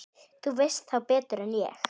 Þú veist þá betur en ég.